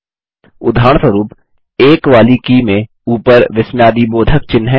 उदाहरणस्वरुप संख्या 1 वाले बटन में ऊपर विस्मयादिबोधक चिह्न है